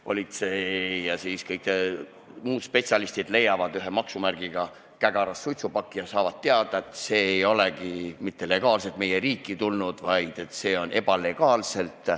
Politsei ja kõik muud spetsialistid leiavad ühe maksumärgiga kägaras suitsupaki ja saavad teada, et see ei ole mitte legaalselt meie riiki tulnud, vaid illegaalselt.